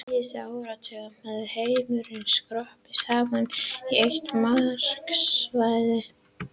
Á síðustu áratugum hefur heimurinn skroppið saman í eitt markaðssvæði.